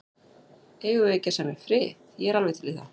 Eigum við ekki að semja frið. ég er alveg til í það.